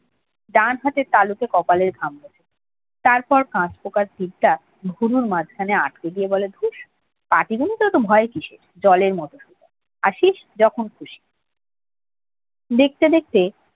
ডান হাতের তালুতে কপালের ঘাম মোছে। তারপর কাঁচ পোকার চিরটা ভুরুর মাঝখানে আটকে দিয়ে বলে দুষ পাটিগণিতে অত ভয় কিসের জলের মতো সোজা আসিস যখন খুশি দেখতে দেখতে